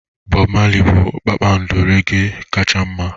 Bobu Marley bụ kpakpando reggae kacha mma